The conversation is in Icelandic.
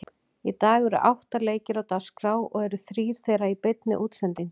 Í dag eru átta leikir á dagskrá og eru þrír þeirra í beinni útsendingu.